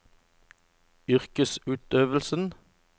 yrkesutøvelsen